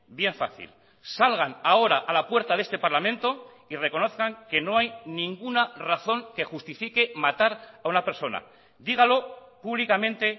bien fácil salgan ahora a la puerta de este parlamento y reconozcan que no hay ninguna razón que justifique matar a una persona dígalo públicamente